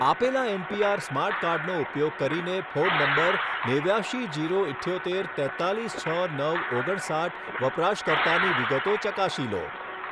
આપેલા N P R smart કાર્ડનો ઉપયોગ કરીને ફોન નંબર નેવ્યાશી જીરો ઈઠ્યોતેર તેત્તાલીસ છ નવ ઓગણસાઠ વપરાશકર્તાની વિગતો ચકાસી લો